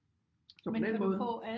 Så på den måde